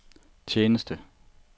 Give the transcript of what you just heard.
tjeneste